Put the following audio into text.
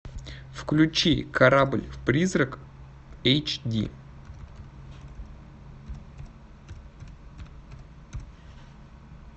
включи корабль призрак эйч ди